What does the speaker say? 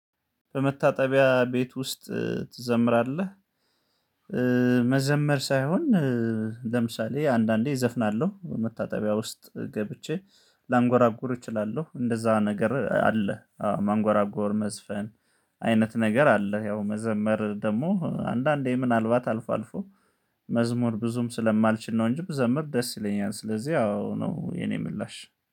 በመታጠቢያ ቤት ውስጥ ትዘምራለ? መዘመር ሳይሆን ለምሳሌ አንዳንዴ እዘፍናለሁ መታጠቢያ ውስጥ ገብቼ ላንጎራጉር እችላለሁ እንደዛ ነገር አለ፤ ማንጎራጎር፣ መዝፈን አይነት ነገር አለ ያው መዘመር ደግሞ አንዳንዴ ምናልባት አልፎ አልፎ መዝሙር ብዙም ስለማልችል ነው እንጂ ብዘምር ደስ ይለኛል ስለዚህ አዎ ነው የኔ ምላሽ።